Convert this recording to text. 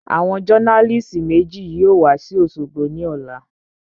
Àwọn jọ́nálìsì méjì yóò wa sí òṣogbo ní ọ̀la